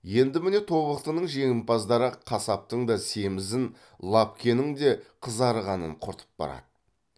енді міне тобықтының жемпаздары қасаптың да семізін лапкенің де қызарғанын құртып барады